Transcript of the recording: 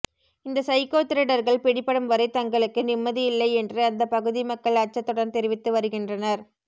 இந்த சைக்கோ திருடர்கள் பிடிபடும் வரை தங்களுக்கு நிம்மதி இல்லை என்று அந்த பகுதி மக்கள் அச்சத்துடன் தெரிவித்து வருகின்றனர்